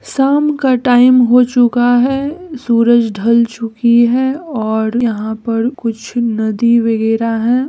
शाम का टाइम हो चुका है सूरज ढल चुकी है और यहाँ पर कुछ नदी वगैरह है।